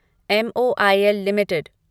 M O I L limited